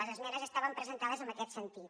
les esmenes estaven presentades en aquest sentit